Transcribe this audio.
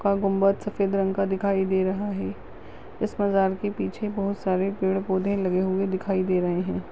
का गुंबद सफ़ेद रंग का दिखाई दे रहा है। इस मैदान के पीछे बहुत सारे पेड़ पौधे लगे हुए दिखाई दे रहे है।